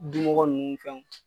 Dumɔgɔ nunnu ni fɛn